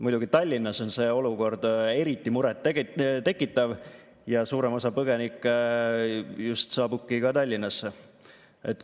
Muidugi Tallinnas on see olukord eriti muret tekitav ja suurem osa põgenikke saabubki just Tallinnasse.